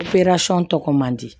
tɔgɔ man di